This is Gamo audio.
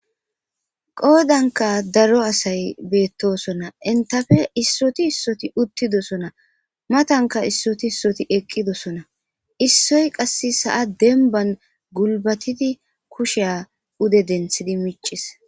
Qoodanka daro asay beettosona entafe issoti issoti uttidosona matanka issoti issoti eqqidosona issoy qasse sa7a denban gulbatidi kusheya ude denthidi miccis.